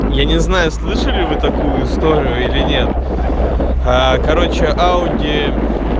я не знаю слышали вы такую историю или нет аа короче ауди